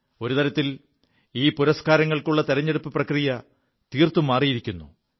ഒരു തരത്തിൽ ഈ പുരസ്കാരങ്ങൾക്കുള്ള തെരഞ്ഞെടുപ്പു പ്രക്രിയ തീർത്തും മാറിയിരിക്കുു